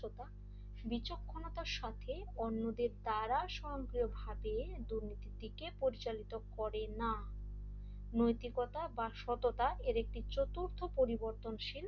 বিচক্ষণতার সাথে অন্যদের দ্বারা সম্প্রিয়ভাবে দুর্নীতির দিকে পরিচালিত করে না নৈতিকতা বা সততা এর একটি চতুর্থ পরিবর্তনশীল